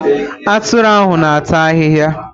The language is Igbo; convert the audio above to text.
Atụrụ ahụ na ata ahịhịa.